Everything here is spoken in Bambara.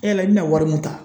E yɛrɛ, i bɛna wari min ta.